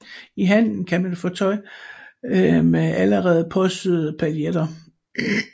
I handlen kan man få tøj med allerede påsyede pailletter